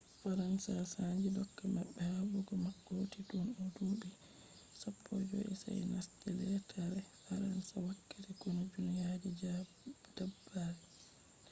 faransa sannji dooka mabbe. habdugo mako hoti tun o do dubi 15 sa'e o nasti lettare faransa wakkati konu duniya je diddabre